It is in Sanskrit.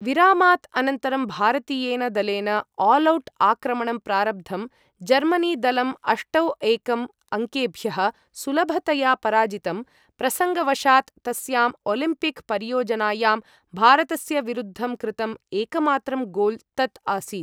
विरामात् अनन्तरं, भारतीयेन दलेन आलौट् आक्रमणं प्रारब्धम्, जर्मनी दलं अष्टौ एकं अङ्केभ्यः सुलभतया पराजितं, प्रसङ्गवशात् तस्याम् ओलिम्पिक् परियोजनायां भारतस्य विरुद्धं कृतं एकमात्रं गोल् तत् आसीत्।